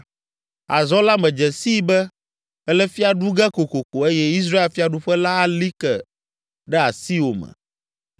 Azɔ la medze sii be èle fia ɖu ge kokoko eye Israel fiaɖuƒe la ali ke ɖe asiwò me.